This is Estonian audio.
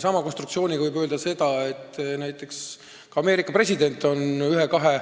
Samamoodi võib öelda, et ka Ameerika president on ühe või kahe